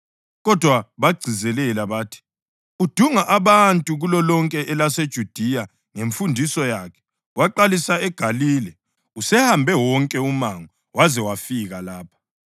Kodwa bagcizelela bathi, “Udunga abantu kulolonke elaseJudiya ngemfundiso yakhe. Waqalisa eGalile, usehambe wonke umango waze wazafika lapha.”